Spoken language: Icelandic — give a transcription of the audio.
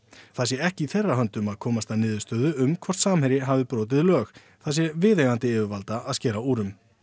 það sé ekki í þeirra höndum að komast að niðurstöðu um hvort Samherji hafi brotið lög það sé viðeigandi yfirvalda að skera úr um